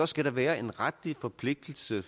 skal være en retlig forpligtelse